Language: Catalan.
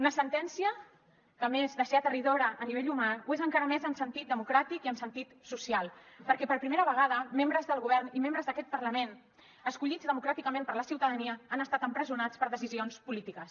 una sentència que a més de ser aterridora a nivell humà ho és encara més en sentit democràtic i en sentit social perquè per primera vegada membres del govern i membres d’aquest parlament escollits democràticament per la ciutadania han estat empresonats per decisions polítiques